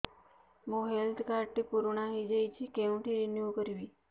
ମୋ health card ଟି ପୁରୁଣା ହେଇଯାଇଛି କେଉଁଠି ରିନିଉ କରିବି